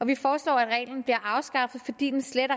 vi foreslår at reglen afskaffes fordi den slet og